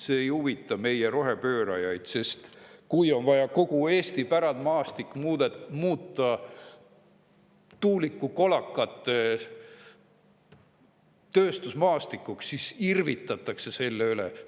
See ei huvita meie rohepöörajaid, sest kui on vaja kogu Eesti pärandmaastik muuta tuulikukolakate tööstusmaastikuks, siis irvitatakse selle üle.